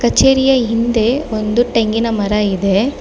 ಕಚೇರಿಯ ಹಿಂದೆ ಒಂದು ಟೇಂಗಿನ ಮರ ಇದೆ.